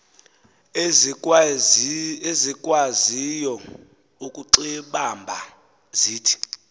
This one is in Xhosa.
ezikwaziyo ukuxibamba zithi